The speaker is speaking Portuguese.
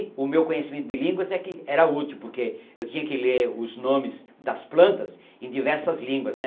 o meu conhecimento de línguas é que era útil, porque eu tinha que ler os nomes das plantas em diversas línguas, né.